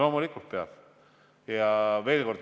Loomulikult peab toetama.